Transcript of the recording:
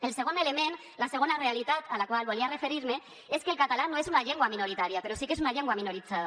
el segon element la segona realitat a la qual volia referir me és que el català no és una llengua minoritària però sí que és una llengua minoritzada